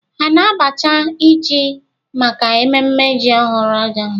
Ha na-abacha ji maka ememme ji ọhụrụ ahụ?